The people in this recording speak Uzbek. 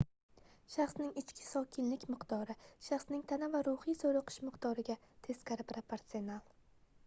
shaxsning ichki sokinlik miqdori shaxsning tana va ruhiy zoʻriqishi miqdoriga teskari proporsional